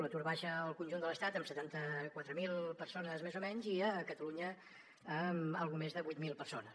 l’atur baixa al conjunt de l’estat en setanta quatre mil persones més o menys i a catalunya en una mica més de vuit mil persones